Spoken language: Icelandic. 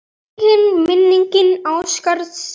Megi minning Ásgeirs lifa.